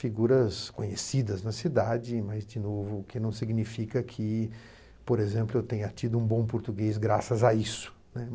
Figuras conhecidas na cidade, mas, de novo, o que não significa que, por exemplo, eu tenha tido um bom português graças a isso, né.